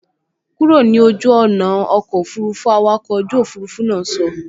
Kúrò ní ojú ọ̀nà ọkọ̀ òfurufú, awakọ̀ ojú òfurufú náà sọ